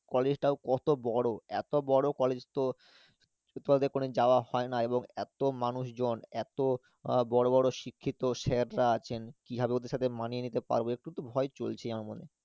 College টাও কত বড়ো, এতো বড়ো college তো ছোটবেলা থেকে কোনোদিন যাওয়া হয়না এবং এতো মানুষজন এতো আহ বড়ো বড়ো শিক্ষিত sir রা আছেন, কীভাবে ওদের সাথে মানিয়ে নিতে পারবো একটুতো ভয় চলছেই আমার মনে